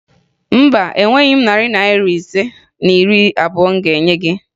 Mba, enweghi m narị Naira ise na iri abụo m ga-enye gị